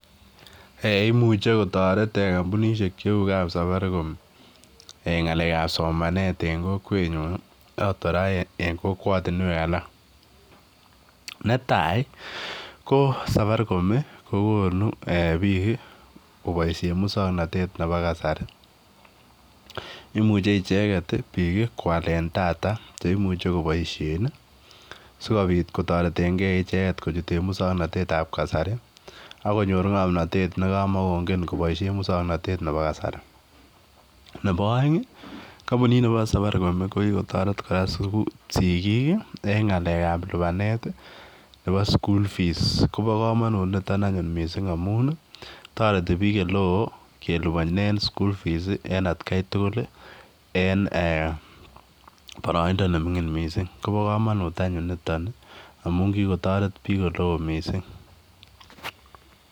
Ei imuche kotoret kompunisiek cheu kapsabarikom ngalek ab somanet en kokwenyun ii noton kora en kokwatinuek alak, netai ko sabarikom ii kokonu biik kobaisien musong'notet nebo kasari, imuche icheget biik kwalen tata cheimuche koboisie ii sikobit kotoretengen icheget kochuten musong'notet ab kasari akonyor ng'omnotet nekamakongen koboisien musang'notet nebo kasari, nebo oeng ii kompunit nebo sabarikom kokikotoret kora sigik en ng'alekab lipanet nebo[cs[school fees koba kamanut niton missing amun toreti biik oleo kelipanen school fees en atkai tugul en boroindo neming'ing missing, koba komonut anyun niton ii amun kikotoret biik oleo missing.